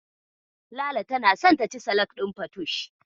Lala tana son taci salak ɗin fatush.